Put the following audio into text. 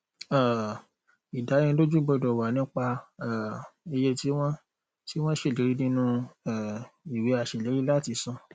um ìdánilójú gbọdọ wà nípa um iye tí wọn tí wọn ṣèlérí nínú um ìwé aṣèlérí láti san